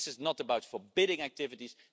This is not about forbidding activities